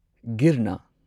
ꯒꯤꯔꯅ